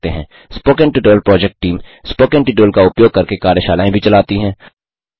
spoken tutorial project team spoken tutorial का उपयोग करके कार्यशालाएँ भी चलाती है